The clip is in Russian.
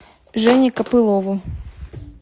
жене копылову